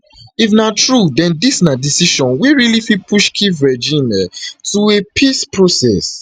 if na true den dis na decision wey really fit push kyiv regime um to a peace process